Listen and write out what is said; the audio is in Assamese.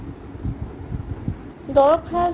গাঁৱত